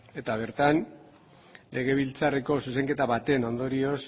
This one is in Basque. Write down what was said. eta bertan legebiltzarreko zuzenketa baten ondorioz